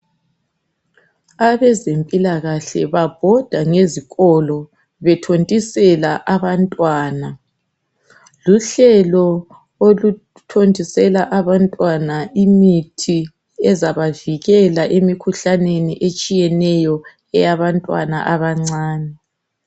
Abezempilakahle babhoda ngezikolo bethontisela abantwana. Luhlelo oluthontisela abantwana imithi ezabavikela emkhuhlaneni etshiyeneyo eyabantwana abancane.